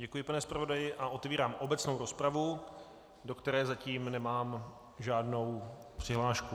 Děkuji, pane zpravodaji, a otevírám obecnou rozpravu, do které zatím nemám žádnou přihlášku.